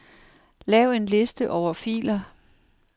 Lav en liste over filer.